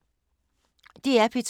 DR P2